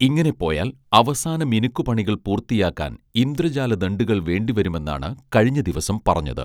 ഇങ്ങനെ പോയാൽ അവസാന മിനുക്കു പണികൾ പൂർത്തിയാക്കാൻ ഇന്ദ്രജാല ദണ്ഡുകൾ വേണ്ടി വരുമെന്നാണ് കഴിഞ്ഞ ദിവസം പറഞ്ഞത്